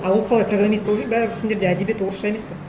а ол қалай программист болып жүр бәрібір сендерде әдебиет орысша емес пе